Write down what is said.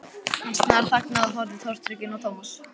Hann snarþagnaði og horfði tortrygginn á Thomas.